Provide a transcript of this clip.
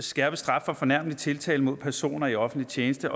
skærpet straf for fornærmelig tiltale mod personer i offentlig tjeneste